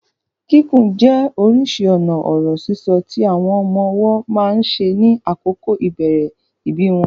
Kíkùn jẹ́ orísìí ọ̀nà ọ̀rọ̀ sísọ tí àwọn ọmọ ọwọ́ máa ń ṣe ní àkókò ìbẹ̀rẹ̀ ìbí wọn.